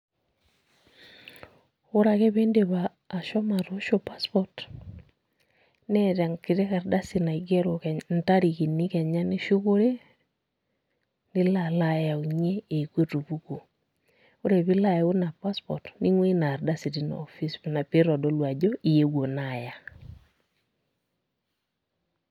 Ore ake piidip ashomo atoosho passport neeta enkiti ardasi naigero intarikini kenya nishukore nilp alo ayaunyie eneeku etupukuo, ore pee ilo ayau ina passport ning'uaa ina ardasi tina office pee itodolu ajo iyeuo naa aya.